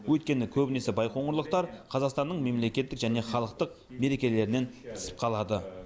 өйткені көбінесе байқоңырлықтар қазақстанның мемлекеттік және халықтық мерекелерінен тыс қалады